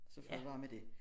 Så fred være med det